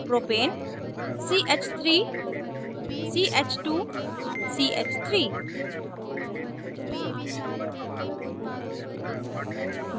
propane ch3ch2ch3